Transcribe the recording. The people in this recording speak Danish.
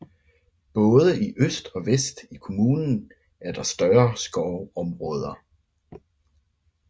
Både i øst og vest i kommunen er der større skovområder